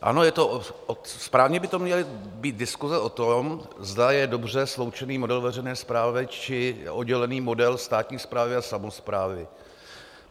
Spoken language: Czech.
Ano, správně by to měly být diskuse o tom, zda je dobře sloučený model veřejné správy, či oddělený model státní správy a samosprávy.